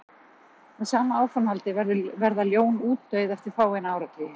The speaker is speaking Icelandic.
með sama áframhaldi verða ljón útdauð eftir fáeina áratugi